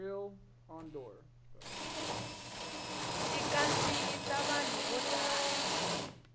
xi kandziyisa vanhu vo tala